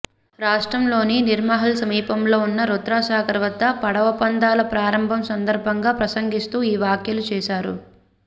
రాష్ట్రంలోని నీర్మహల్ సమీపంలో ఉన్న రుద్రసాగర్ వద్ద పడవ పందాల ప్రారంభం సందర్భంగా ప్రసంగిస్తూ ఈ వ్యాఖ్యలు చేశారు